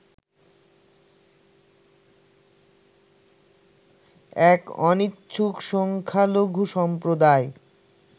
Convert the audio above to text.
এক অনিচ্ছুক সংখ্যালঘু সম্প্রদায়